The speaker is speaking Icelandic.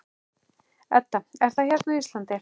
Edda: Er það hérna á Íslandi?